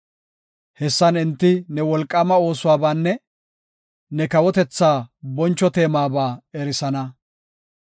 Hessan enti ne wolqaama oosuwabaanne ne kawotethaa boncho teemaba erisana.